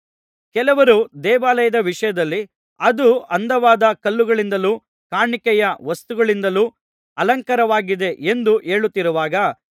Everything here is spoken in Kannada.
ಕೆಲವರು ದೇವಾಲಯದ ವಿಷಯದಲ್ಲಿ ಅದು ಅಂದವಾದ ಕಲ್ಲುಗಳಿಂದಲೂ ಕಾಣಿಕೆಯ ವಸ್ತುಗಳಿಂದಲೂ ಅಲಂಕಾರವಾಗಿದೆ ಎಂದು ಹೇಳುತ್ತಿರುವಾಗ